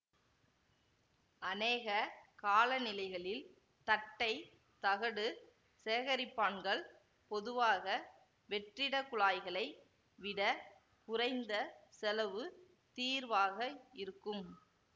அநேக காலநிலைகளில் தட்டை தகடு சேகரிப்பான்கள் பொதுவாக வெற்றிடக் குழாய்களை விட குறைந்த செலவு தீர்வாக இருக்கும்